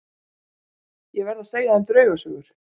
Ég verð að segja þeim draugasögur.